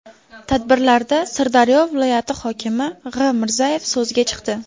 Tadbirlarda Sirdaryo viloyati hokimi G‘.Mirzayev so‘zga chiqdi.